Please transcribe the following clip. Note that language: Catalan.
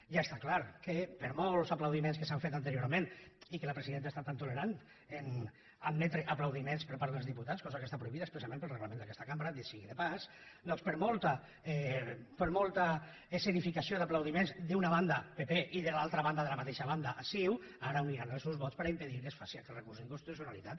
ja està clar que per molts aplaudiments que s’han fet anteriorment i que la presidenta hagi estat tan tolerant a admetre aplaudiments per part dels diputats cosa que està prohibida expressament pel reglament d’aquesta cambra dit sigui de pas per molta escenificació d’aplaudiments d’una banda pp i de l’altra banda de la mateixa banda ciu ara uniran els seus vots per impedir que es faci aquest recurs d’inconstitucionalitat